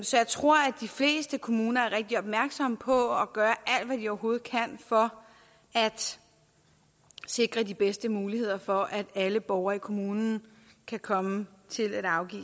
så jeg tror at de fleste kommuner er rigtig opmærksomme på at gøre alt hvad de overhovedet kan for at sikre de bedste muligheder for at alle borgere i kommunen kan komme til at afgive